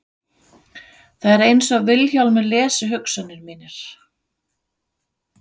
Það er einsog Vilhjálmur lesi hugsanir mínar.